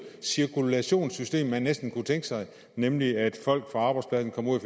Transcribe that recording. cirkulationssystem man næsten kan tænke sig nemlig at folk fra arbejdspladserne kommer